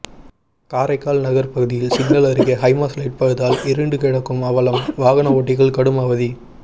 காரைக்கால் நகர் பகுதியில் சிக்னல் அருகே ஹைமாஸ் லைட் பழுதால் இருண்டு கிடக்கும் அவலம் வாகன ஓட்டிகள் கடும் அவதி